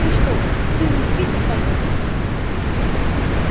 ты что с сыном в питер поехал